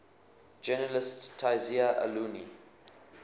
journalist tayseer allouni